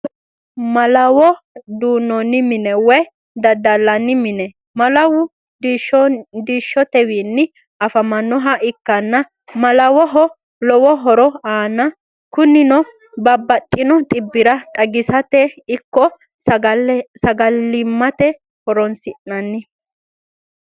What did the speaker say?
Malawo duu'nonni mine woyi dadalanni mine, malawu diishotewiini afi'neemoha ikkana manaho lowo horo aana kunino babaxino xibira xagisirate ikko sagalimate horonsi'nanni